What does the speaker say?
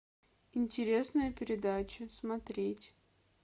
интересная передача смотреть